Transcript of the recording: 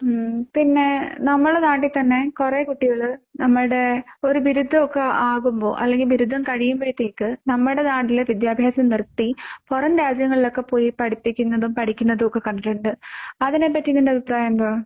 പിന്നെ നമ്മുടെ നാട്ടിൽ തന്നെ കൊറേ കുട്ടികൾ നമ്മളുടെ ഒരു ബിരുദം ഒക്കെ ആകുമ്പോൾ അല്ലെങ്കിൽ ബിരുദം കഴിയുമ്പഴത്തേക്ക് നമ്മുടെ നാട്ടിലെ വിദ്യാഭ്യാസം നിർത്തി പുറം രാജ്യങ്ങളിൽ ഒക്കെ പോയി പഠിപ്പിക്കുന്നതും പഠിക്കുന്നതും ഒക്കെ കണ്ടിട്ടുണ്ട്. അതിനെ പറ്റി നിന്റെ അഭിപ്രായം എന്താ?